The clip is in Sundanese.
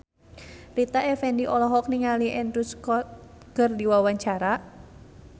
Rita Effendy olohok ningali Andrew Scott keur diwawancara